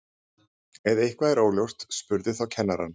ef eitthvað er óljóst spurðu þá kennarann